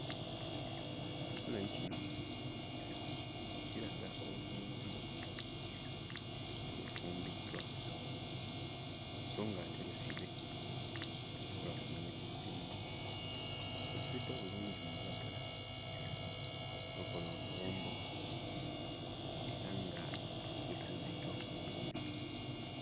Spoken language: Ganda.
Ekifaananyi kino kiraga oluwombo olufumbiddwa so ng'ate lusibe, tosobola kumanya kirulimu munda. Lusibiddwa bulungi mu lulagala olukola oluwombo era nga lutuuziddwa ku mmeeza.